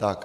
Tak.